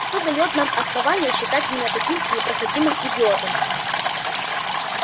что даёт нам основание считать меня таким непроходимым идиотом